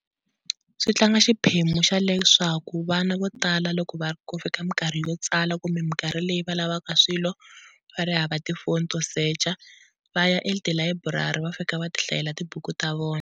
Swi tlanga xiphemu xa leswaku vana vo tala loko va ri ku fika minkarhi yo tsala kumbe minkarhi leyi va lavaka swilo va ri hava tifoni to secha va ya etilayiburari va fika va ti hlayela tibuku ta vona.